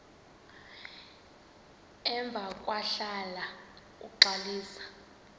emva kwahlala uxalisa